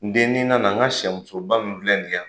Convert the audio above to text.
N den n'i nana n ka sɛ muso ba min filɛ nin ye yan